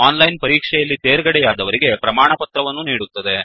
ಓನ್ಲೈನನ್ ಪರೀಕ್ಷೆ ಯಲ್ಲಿ ತೇರ್ಗಡೆಯಾದವರಿಗೆ ಪ್ರಮಾಣವನ್ನು ನೀಡುತ್ತದೆ